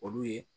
Olu ye